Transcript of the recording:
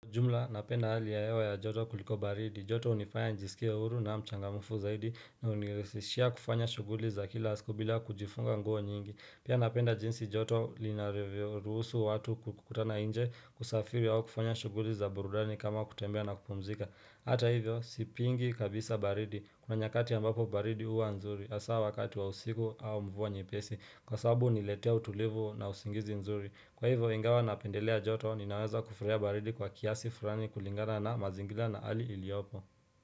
Jumla, napenda hali ya hewa ya joto kuliko baridi. Joto hunifanya nijisikie huru na mchangamfu zaidi na hunirahisishia kufanya shuguli za kila siku bila kujifunga nguo nyingi. Pia napenda jinsi joto linarevyo. Ruhusu watu kukutana nje kusafiri au kufanya shuguli za burudani kama kutembea na kupumzika. Hata hivyo, sipingi kabisa baridi, kuna nyakati ambapo baridi huwa nzuri, hasa wakati wa usiku au mvua nyepesi, kwasababu huniletea utulivu na usingizi mzuri. Kwa hivyo, ingawa napendelea joto au ninaweza kufurahia baridi kwa kiasi fulani kulingana na mazingira na hali iliyopo.